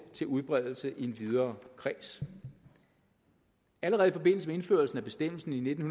til udbredelse i en videre kreds allerede i forbindelse med indførelsen af bestemmelsen i nitten